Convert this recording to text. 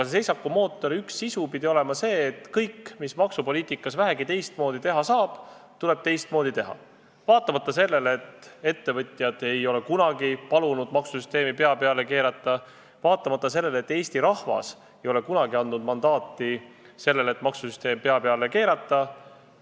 Selle üks sisu pidi olema see, et kõik, mida vähegi maksupoliitikas teistmoodi teha saab, tuleb teistmoodi teha, vaatamata sellele, et ettevõtjad ei ole kunagi palunud maksusüsteemi pea peale keerata, ja vaatamata sellele, et Eesti rahvas ei ole kunagi selleks mandaati andnud.